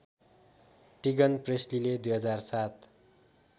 टिगन प्रेस्लीले २००७